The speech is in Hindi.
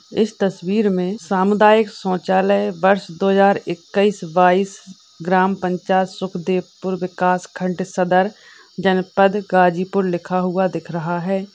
इस तस्वीर में सामुदायिक शौचालय वर्ष दो हजार इक्कीस बाईस ग्राम पंचायत सुखदेवपुरा विकासखंड सदर जनपद गाजीपुर लिखा हुआ दिखाई दे रहा है।